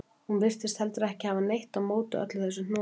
Hún virtist heldur ekki hafa neitt á móti öllu þessu hnoði.